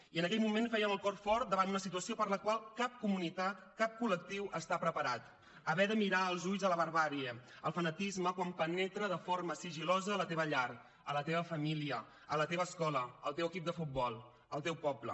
i en aquell moment feien el cor fort davant una situació per la qual cap comunitat cap col·lectiu està preparat haver de mirar als ulls la barbàrie el fanatisme quan penetra de forma sigil·losa a la teva llar a la teva família a la teva escola al teu equip de futbol al teu poble